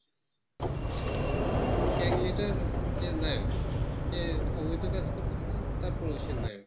আহ gang leader যে নায়ক যে সবই প্রকাশ করতেছে তারপর সে নায়ক